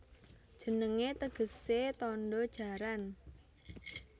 Jenengé tegesé Tandha Jaran